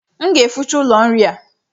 M ga-eficha ụlọ nri a